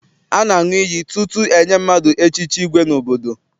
A na-aṅụ iyi tutu enye mmadụ echichi igwe n'obodo.